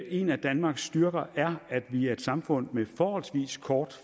en af danmarks styrker er at vi er et samfund med forholdsvis kort